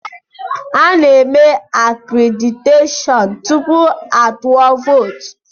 Ana-eme akréditeshọọn tupu a tụọ vootu.